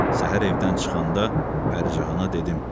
Səhər evdən çıxanda Pərizahana dedim: